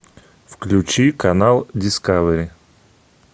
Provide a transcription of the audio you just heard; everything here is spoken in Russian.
включи канал дискавери